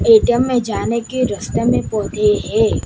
ATM में जाने के रस्ता में पौधे हैं।